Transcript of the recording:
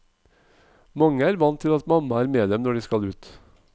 Mange er vant til at mamma er med dem når de skal ut.